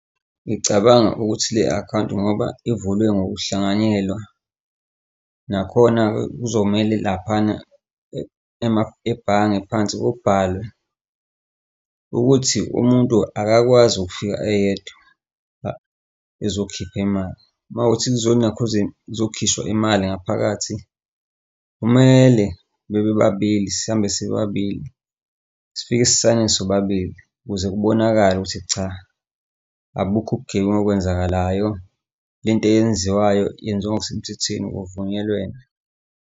Ngicabanga ukuthi le akhawunti ngoba ivulwe ngokuhlanganyelwa, nakhona kuzomele laphana ebhange phansi kubhalwe ukuthi umuntu akakwazi ukufika eyedwa ezokhipha imali. Uma kuwukuthi kuzonakhuzeni, kuzokhishwa imali ngaphakathi, kumele bebe babili sihambe sibe babili sifike sisayine sobabili, ukuze kubonakale ukuthi cha, abukho ubugebengu okwenzakalayo. Le nto eyenziwayo yenziwa ngokusemthethweni kuvunyelwene.